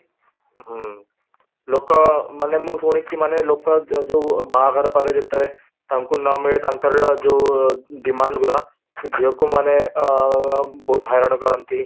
ହୁଁ ଲୋକ ମାନେ ମୁଁ ଶୁଣିଚି ମାନେ ଲୋକ ଯୋଉ ବାହାଘର ପରେ ତାଙ୍କୁ ନମିଳେ ତାଙ୍କର ଯୋଉ demand ଗୁଡ଼ା ଝିଅକୁ ମାନେ ଅ ବହୁତ ହଇରାଣ କରନ୍ତି